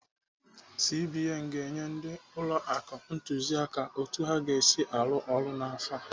CBN ga-enye ndị ụlọ akụ ntụziaka otu ha ga-esi arụ ọrụ n'afọ a.